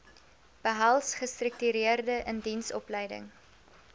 behels gestruktureerde indiensopleiding